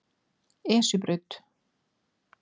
Esjubraut